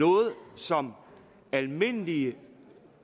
noget som almindelige